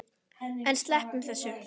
En sleppum þessu!